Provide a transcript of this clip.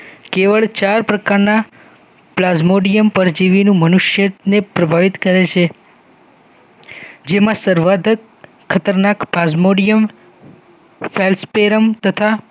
કેવળ ચાર પ્રકારના પ્લાઝ્મોડિયમ પ્રજીવીનું મનુષ્યને પ્રભાવિત કરે છે જેમા સર્વાધક ખતરનાક પ્લાઝ્મોડિયમ સેલફકેરમ તથા